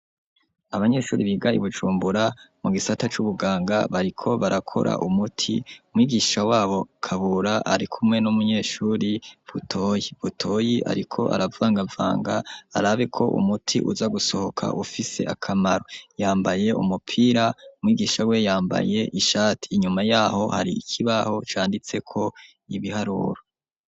Abanyeshuri biga I Bujumbura mu gisata c'ubuganga bariko barakora umuti. Umwigisha wabo Kabura ari kumwe n'umunyeshuri Butoyi. Butoyi ariko aravangavanga arabeko umuti uza gusohoka ufise akamaro yambaye umupira mwigisha we yambaye ishati inyuma yaho hari ikibaho canditse ko ibiharuro.